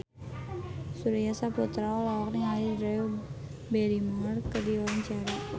Surya Saputra olohok ningali Drew Barrymore keur diwawancara